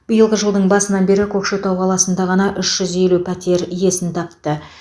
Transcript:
биылғы жылдың басынан бері көкшетау қаласында ғана үш жүз елу пәтер иесін тапты